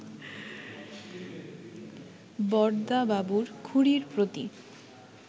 বরদাবাবুর খুড়ীর প্রতি